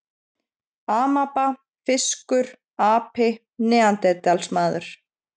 Amaba, fiskur, api, neanderdalsmaður.